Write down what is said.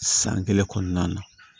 San kelen kɔnɔna na